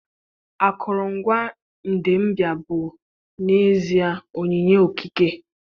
Akụrụngwa Idembia bụ n'ezie onyinye okike.